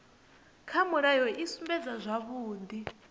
kha mulayo i sumbedza zwavhudi